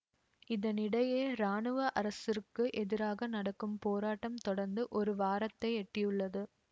இதனிடையே இராணுவ அரசிற்கு எதிராக நடக்கும் போராட்டம் தொடர்ந்து ஒரு வாரத்தை எட்டியுள்ளது